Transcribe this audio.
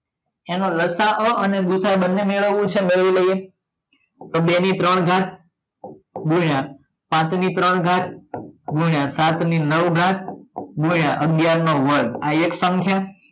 એનો લસા અને ભૂસા બંને મેળવવાનો છે મેળવી લઈએ તો બે ની ત્રણ ઘાત ગુણ્યા પાંચની ત્રણ ઘાત ગુણ્યા સાત ની નવ ઘાત ગુણ્યા અગિયાર નો વર્ગ આ એક સંખ્યા